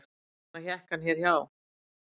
Þess vegna hékk hann hér hjá